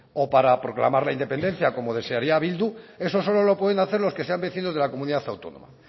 o para proclamar la independencia como desearía bildu eso solo lo pueden hacer los que sean vecinos de la comunidad autónoma